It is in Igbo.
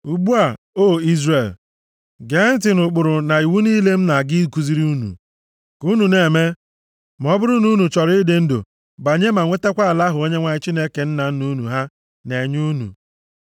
Ugbu a, O Izrel, gee ntị nʼụkpụrụ na iwu niile m na-aga ikuziri unu ka unu na-eme ma ọ bụrụ na unu chọrọ ịdị ndụ banye, ma nwetakwa ala ahụ Onyenwe anyị Chineke nna nna unu ha na-enye unu.